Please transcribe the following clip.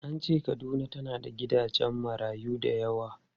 An ce Kaduna tana da gidajen marayu da yawa.